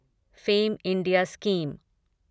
fame India scheme